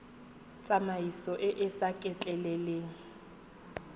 tsamaiso e e sa letleleleng